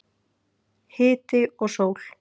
Hiti og sól.